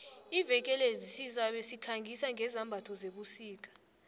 iveke le sizabe sikhangisa ngezambatho zebusika